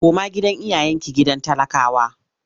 Koma gidan iyayenki gidan talakawa!